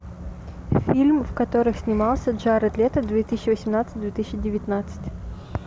фильм в которых снимался джаред лето две тысячи восемнадцать две тысячи девятнадцать